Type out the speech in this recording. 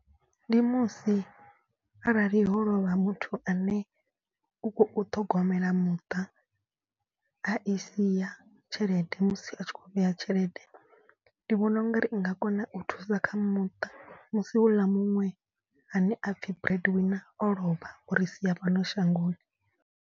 Ndi musi arali ho lovha muthu ane u khou ṱhogomela muṱa. A i sia tshelede musi a tshi khou vheya tshelede. Ndi vhona u nga ri i nga kona u thusa kha muṱa musi hou ḽa muṅwe ane a pfi bread wina o lovha o ri sia fhano shangoni.